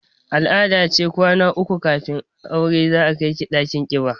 Al-ada ce kwana uku kafin aure za a kai ki ɗakin ƙiba